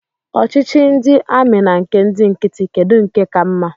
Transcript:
Ọchịchị ndị amị na nke ndị nkịtị, kedụ nke ka mma?